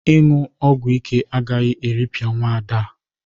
Ịñụ ogwo ike agaghị eripịa nwaada a.